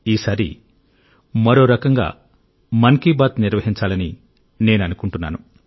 ఈసారి మరో రకంగా మన్ కి బాత్ నిర్వహించాలని నేను అనుకుంటున్నాను